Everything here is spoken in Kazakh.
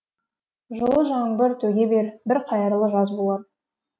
жылы жаңбыр төге бер бір қайырлы жаз болар